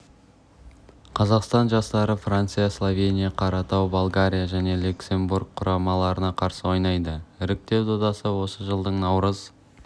қазақстан жастары франция словения қаратау болгария және люксембург құрамаларына қарсы ойнайды іріктеу додасы осы жылдың наурыз